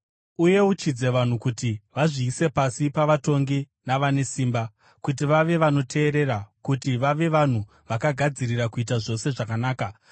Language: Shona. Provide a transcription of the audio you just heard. Uyeuchidze vanhu kuti vazviise pasi pavatongi navane simba, kuti vave vanoteerera, kuti vave vanhu vakagadzirira kuita zvose zvakanaka,